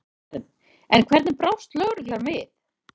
Karen: En hvernig brást lögreglan við?